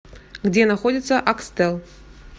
где находится акстел